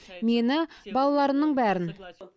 мені балаларымның бәрін